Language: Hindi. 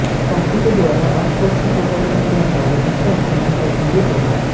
साथी के द्वारा आपको अच्छे तोहफे मिलने के आसार हैं जिससे आपका मन प्रफुल्लित होगा